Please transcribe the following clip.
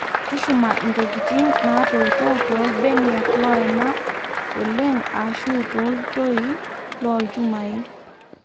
tushuma intokitin naatoito too ilbeniak loena oleng ashu too iltoi loo ilchumai